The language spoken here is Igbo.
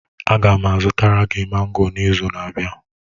Aga m azụtara gị mango n'izu na-abịa.